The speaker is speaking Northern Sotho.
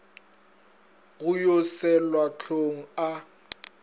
go yo selwa hlong a